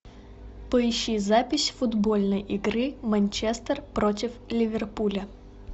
поищи запись футбольной игры манчестер против ливерпуля